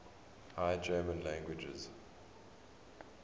high german languages